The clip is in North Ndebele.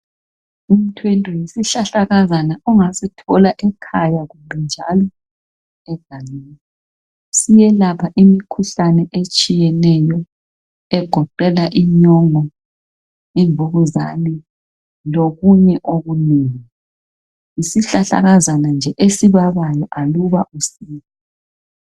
Umthwente yizihlahlakazana ongasithola ekhaya kumbe njalo egangeni , siyelapha imikhuhlane etshiyeneyo egoqela inyongo , imvukuzane lokunye okunengi , yizihlahlakazana nje eaibabayo aluba usidla